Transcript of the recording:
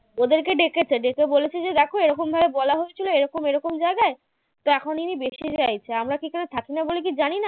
ওদেরকে ডেকেছে ডেকে বলেছে যে দেখো এরকমভাবে বলা হয়েছিল এরকম এরকম জায়গায় তা এখন ইনি বেশি চাইছেন তা আমরা এখানে থাকিনা বলে কী জানি না?